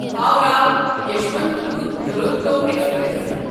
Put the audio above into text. Howrah Yesvantpur Duronto express